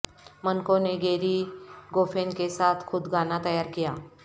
منکوں نے Gerry Goffin کے ساتھ خود گانا تیار کیا